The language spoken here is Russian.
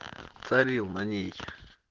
царил на ней